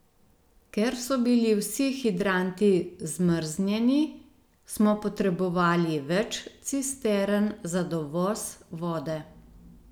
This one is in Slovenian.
Ker so bili vsi hidranti zmrznjeni, smo potrebovali več cistern za dovoz vode.